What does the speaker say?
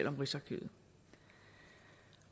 om rigsarkivet